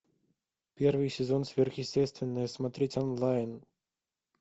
первый сезон сверхъестественное смотреть онлайн